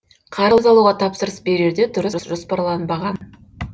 қарыз алуға тапсырыс берерде дұрыс жоспарланбаған